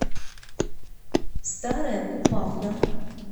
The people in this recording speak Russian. старая купавна